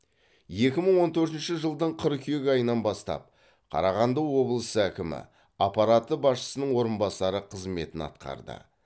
екі мың он төртінші жылдың қыркүйек айынан бастап қарағанды облысы әкімі аппараты басшысының орынбасары қызметін атқарды